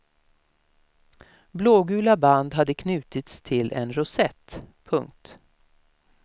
Blågula band hade knutits till en rosett. punkt